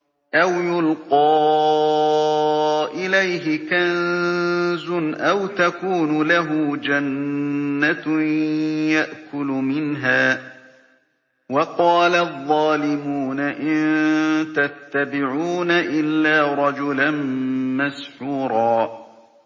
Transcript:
أَوْ يُلْقَىٰ إِلَيْهِ كَنزٌ أَوْ تَكُونُ لَهُ جَنَّةٌ يَأْكُلُ مِنْهَا ۚ وَقَالَ الظَّالِمُونَ إِن تَتَّبِعُونَ إِلَّا رَجُلًا مَّسْحُورًا